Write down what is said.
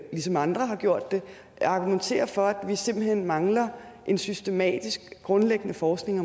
ligesom andre har gjort det argumenterer for at vi simpelt hen mangler en systematisk grundlæggende forskning